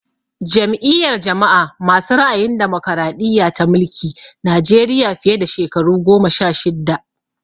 Jam'iyar jama'a masu ra'ayin damokaraɗiya ta mulki Najeriya fiye da shekaru goma sha shidda